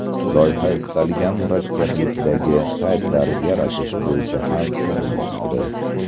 Loyiha istalgan murakkablikdagi saytlar yaratish bo‘yicha ham shug‘ullanadi.